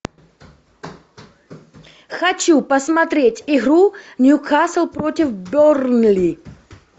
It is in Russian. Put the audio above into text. хочу посмотреть игру нью касл против бернли